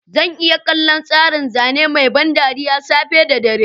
Zan iya kallon tsarin zane mai ban dariya safe da dare.